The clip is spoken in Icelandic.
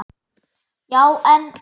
Já, en.